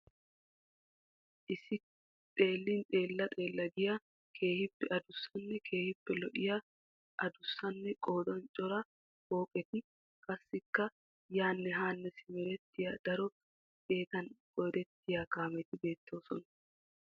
Issi xeelin xeella giya keehiippe adussanne keehiippe lo'iya addussanne qodan cora pooqqetti ,qassikka yaanne haane simerettiya daro xeettan qoodettiya kaameeti beettoosona.